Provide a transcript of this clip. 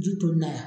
Ji donna a la